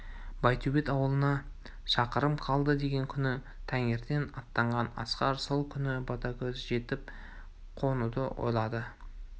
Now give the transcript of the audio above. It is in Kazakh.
байтөбет ауылына шақырым қалды деген күні таңертең аттанған асқар сол күні ботагөзге жетіп қонуды ойлады